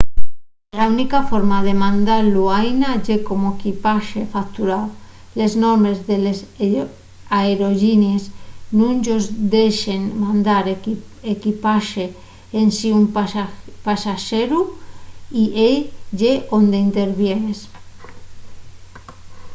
la única forma de mandalo aína ye como equipaxe facturao les normes de les aerollinies nun-yos dexen mandar equipaxe ensin un pasaxeru y ehí ye onde intervienes